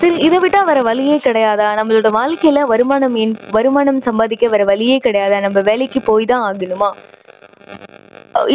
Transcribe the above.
சரி, இதை விட்டா வேற வழியே கிடையாதா? நம்மளோட வாழ்க்கையில வருமானம் ஏன் வருமானம் சம்பாதிக்க வேற வழியே கிடையாதா? நம்ப வேலைக்கு போய் தான் ஆகணுமா?